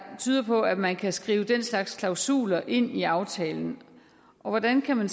tyder på at man kan skrive den slags klausuler ind i aftalen og hvordan kan man